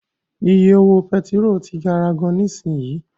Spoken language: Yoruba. Iye owó pẹtiró ti gara gan nisinyi.